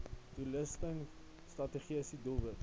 doelstelling strategiese doelwit